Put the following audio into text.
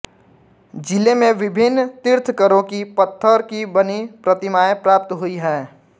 जिले में विभिन्न तीर्थंकरो की पत्थर की बनी प्रतिमाएँ प्राप्त हुई हैं